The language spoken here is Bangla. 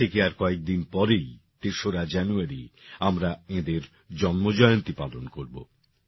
আজ থেকে আর কয়েকদিন পরেই তেসরা জানুয়ারি আমরা এঁদের জন্মজয়ন্তী পালন করবো